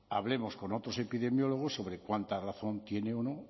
hablemos con otros epidemiólogos sobre cuánta razón tiene o no